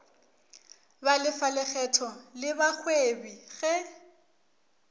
balefa lekgetho le bagwebi ge